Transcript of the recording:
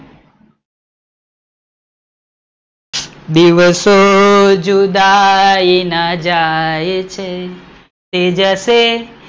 દિવસો જુદાઈ ના જાય છે? તે જશે